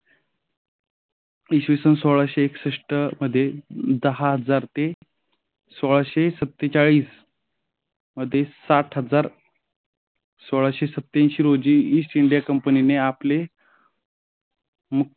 विशेषण सोळाशे एकसष्ट मध्ये दहा हजार ते सोळाशे सत्तेचाळीस मध्ये सात हजार सोळाशे सत्त्यासी रोजी ईस्ट इंडिया कंपनीने आपले